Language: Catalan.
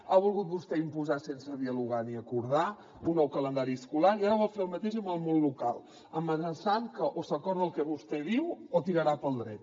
ha volgut vostè imposar sense dialogar ni acordar un nou calendari escolar i ara vol fer el mateix amb el món local amenaçant que o s’acorda el que vostè diu o tirarà pel dret